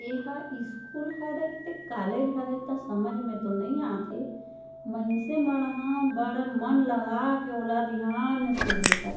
एहा स्कूल हरय त कॉलेज हरे त समझ में तो नई आथे मइन्से मन ह बड़ मन लगा के वो वाला ध्यान से देखत--